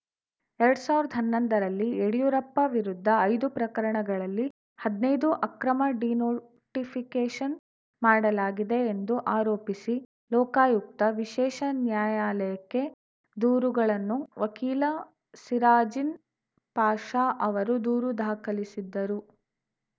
ಎರಡ್ ಸಾವಿರ್ದ ಹನ್ನೊಂದರಲ್ಲಿ ಯಡಿಯೂರಪ್ಪ ವಿರುದ್ಧ ಐದು ಪ್ರಕರಣಗಳಲ್ಲಿ ಹದ್ನೈದು ಅಕ್ರಮ ಡಿನೋಟಿಫಿಕೇಷನ್‌ ಮಾಡಲಾಗಿದೆ ಎಂದು ಆರೋಪಿಸಿ ಲೋಕಾಯುಕ್ತ ವಿಶೇಷ ನ್ಯಾಯಾಲಯಕ್ಕೆ ದೂರುಗಳನ್ನು ವಕೀಲ ಸಿರಾಜಿನ್‌ ಪಾಷಾ ಅವರು ದೂರು ದಾಖಲಿಸಿದ್ದರು